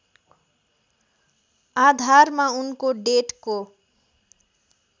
आधारमा उनको डेटको